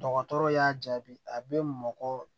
Dɔgɔtɔrɔ y'a jaabi a be mɔgɔ